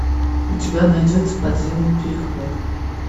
у тебя найдется подземный переход